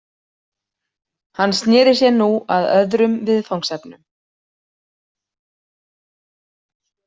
Hann sneri sér nú að öðrum viðfangsefnum.